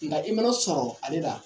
Nka i mana sɔrɔ ale la.